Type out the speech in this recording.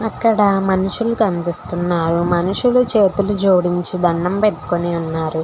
అక్కడ మనుషులు కనిపిస్తున్నారు మనుషులు చేతులు జోడించి దండం పెట్టుకొని ఉన్నారు.